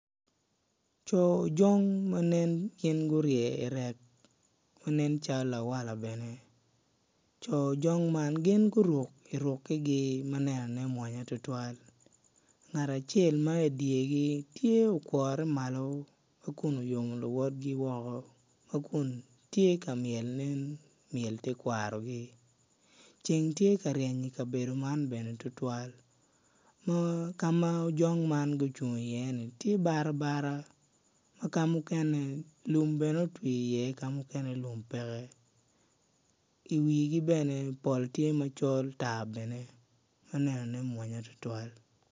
Co ojong ma nen gurye i rek ma nen calo lawala bene. Co ojong man guruke ma nen ne mwonya mada ngat acel ma i dyegi tye okwore malo ma kun oyomo luwotgi woko ma kun tye ka myel myel tekwarogi ceng tye ka ryen i kabedo man tutwal ka ma ojong gucung i ye ni tye barabara ki ka mo kene lum otwi iye ki ka muken lum pe iye i wigi pol tye ma col tar bene ma nenone mwonya tutwal.